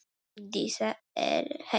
Dísa er heima!